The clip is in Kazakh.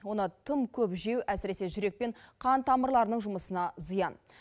оны тым көп жеу әсіресе жүрек пен қан тамырларының жұмысына зиян